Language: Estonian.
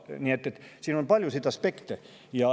Nii et siin on palju aspekte.